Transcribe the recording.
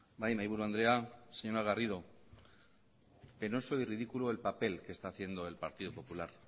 bai mahaiburu andrea señora garrido penoso y ridículo el papel que está haciendo el partido popular